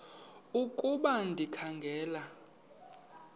ukuba ndikha ngela